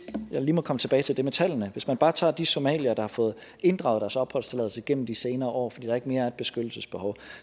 lige komme tilbage til det med tallene hvis man bare tager de somaliere der har fået inddraget deres opholdstilladelse gennem de senere år fordi der ikke mere er et beskyttelsesbehov